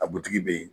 A butigi bɛ yen